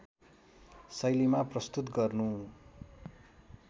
शैलीमा प्रस्तुत गर्नु